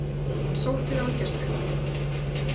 Hann sótti þá í gestaherbergið.